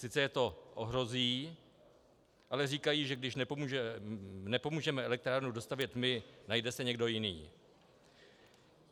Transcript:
Sice je to ohrozí, ale říkají, že když nepomůžeme elektrárnu dostavět my, najde se někdo jiný.